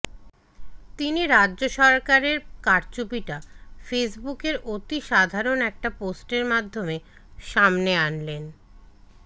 তিনি রাজ্য সরকারের কারচুপিটা ফেসবুকের অতি সাধারণ একটা পোস্টের মাধ্যমে সামনে